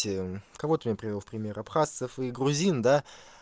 те кого ты мне привёл в пример абхазцев и грузин да